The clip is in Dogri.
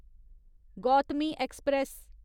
गौतमी ऐक्सप्रैस